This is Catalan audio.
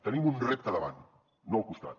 tenim un repte davant no al costat